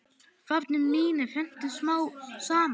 Varnir mínar hrundu smám saman.